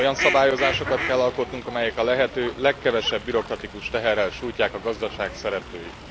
Olyan szabályozásokat kell alkotnunk, amelyek a lehető legkevesebb bürokratikus teherrel sújtják a gazdaság szereplőit.